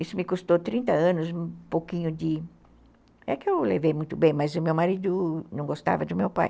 Isso me custou trinta anos, um pouquinho de... É que eu levei muito bem, mas o meu marido não gostava do meu pai.